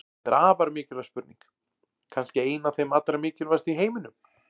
Þetta er afar mikilvæg spurning, kannski ein af þeim allra mikilvægustu í heiminum!